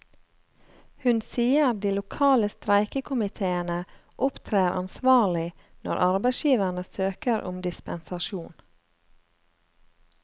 Hun sier de lokale streikekommiteene opptrer ansvarlig når arbeidsgiverne søker om dispensasjon.